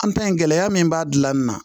An ta in gɛlɛya min b'a gilan nin na